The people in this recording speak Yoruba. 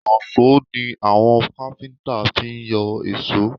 Ìyọ̀ṣó ni àwọn káfíńtà fi ń yọ èsó